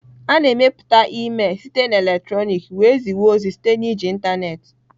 A na-emepụta email site na eletrọnịkị wee zipụ ozi site na iji ịntanetị.